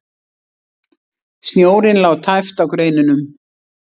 Snjórinn lá tæpt á greinunum.